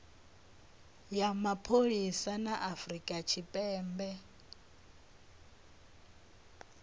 ya mapholisa a afurika tshipembe